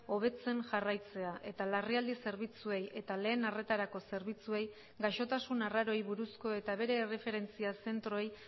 hobetzen jarraitzea eta larrialdi zerbitzuei eta lehen arretarako zerbitzuei gaixotasun arraroei buruzko eta bere erreferentzia zentroei